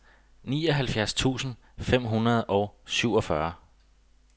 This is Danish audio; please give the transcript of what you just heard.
nioghalvfjerds tusind fem hundrede og syvogfyrre